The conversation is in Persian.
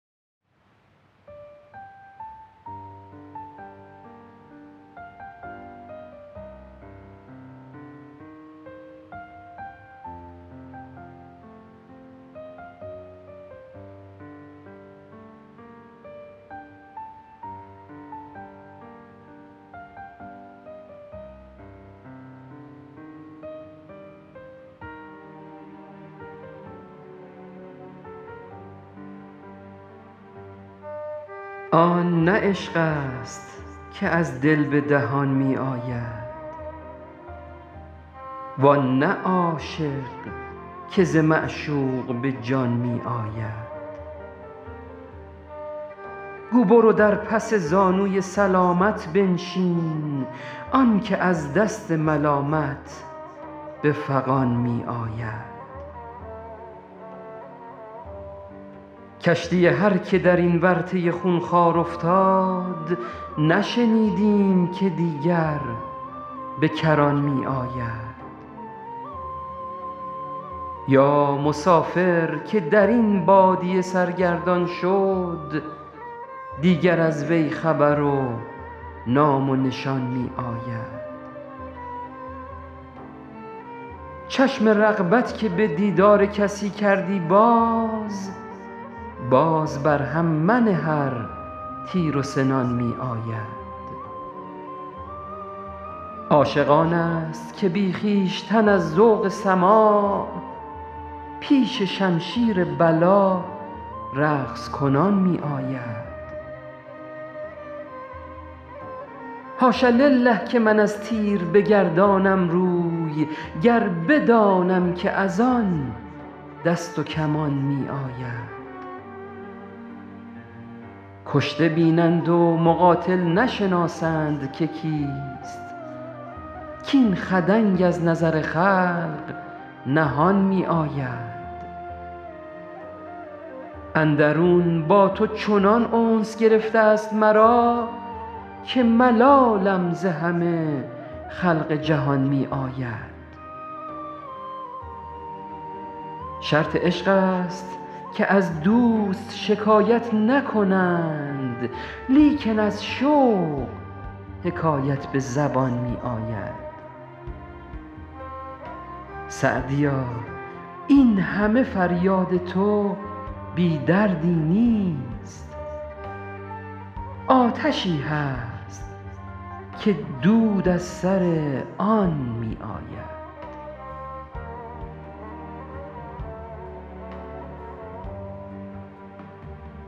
آن نه عشق است که از دل به دهان می آید وان نه عاشق که ز معشوق به جان می آید گو برو در پس زانوی سلامت بنشین آن که از دست ملامت به فغان می آید کشتی هر که در این ورطه خونخوار افتاد نشنیدیم که دیگر به کران می آید یا مسافر که در این بادیه سرگردان شد دیگر از وی خبر و نام و نشان می آید چشم رغبت که به دیدار کسی کردی باز باز بر هم منه ار تیر و سنان می آید عاشق آن است که بی خویشتن از ذوق سماع پیش شمشیر بلا رقص کنان می آید حاش لله که من از تیر بگردانم روی گر بدانم که از آن دست و کمان می آید کشته بینند و مقاتل نشناسند که کیست کاین خدنگ از نظر خلق نهان می آید اندرون با تو چنان انس گرفته ست مرا که ملالم ز همه خلق جهان می آید شرط عشق است که از دوست شکایت نکنند لیکن از شوق حکایت به زبان می آید سعدیا این همه فریاد تو بی دردی نیست آتشی هست که دود از سر آن می آید